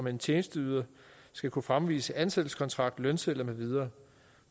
en tjenesteyder skal kunne fremvise ansættelseskontrakt lønsedler med videre